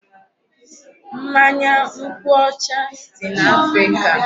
Mmanya nkwụ ọcha dị n'Africa.